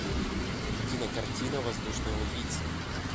кинокартина воздушные убийцы